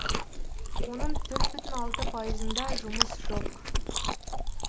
оның төрт бүтін алты пайызында жұмыс жоқ